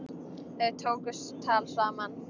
Þau tóku tal saman.